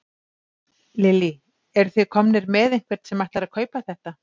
Lillý: Eruð þið komnir með einhvern sem ætlar að kaupa þetta?